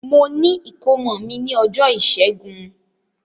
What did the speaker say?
Mo ni ìkómọ mi ni ọjọ ìṣẹgun.